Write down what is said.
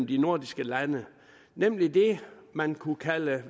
de nordiske lande nemlig det man kunne kalde